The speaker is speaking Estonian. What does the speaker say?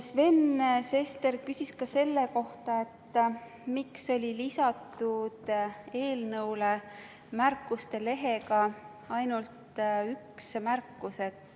Sven Sester küsis ka selle kohta, miks oli eelnõule lisatud märkuste lehel ainult üks märkus.